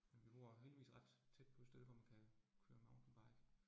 Men jeg bor heldigvis ret tæt på et sted, hvor man kan køre mountainbike